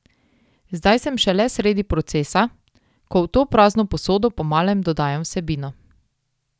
Zdaj sem šele sredi procesa, ko v to prazno posodo po malem dodajam vsebino.